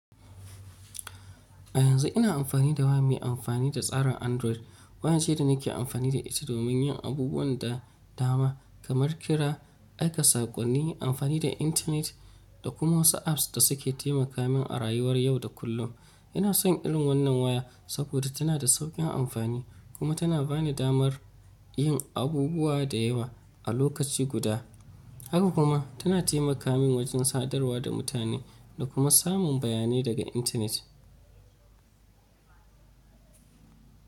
A yanzu ina amfani da waya mai amfani da tsarin Android. Waya ce da nake amfani da ita domin yin abubuwan da dama kamar fira, aika saƙonni, amfani da intanet, da kuma wasu apps da suke taimaka min a rayuwar yau da kullum. Ina son irin wannan waya saboda tana da sauƙin amfani kuma tana ba ni damar yin abubuwa da yawa a lokaci guda. Haka kuma tana taimaka min wajen sadarwa da mutane da kuma samun bayanai daga intanet.